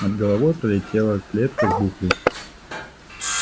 над головой пролетела клетка с буклей